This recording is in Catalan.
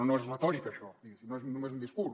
no és retòrica això diguéssim no és només un discurs